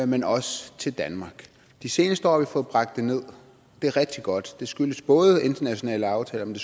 men også til danmark de seneste år har vi fået bragt det nederst det er rigtig godt det skyldes både internationale aftaler men